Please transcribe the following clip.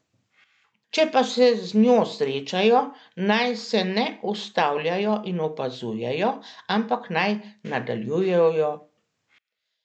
Če pa se z njo srečajo, naj se ne ustavljajo in opazujejo, ampak naj nadaljujejo pot.